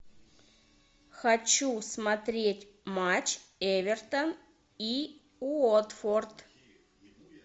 хочу смотреть матч эвертон и уотфорд